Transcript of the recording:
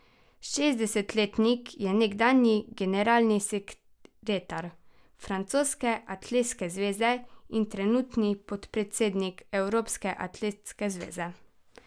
Šestdesetletnik je nekdanji generalni sekretar francoske atletske zveze in trenutni podpredsednik Evropske atletske zveze.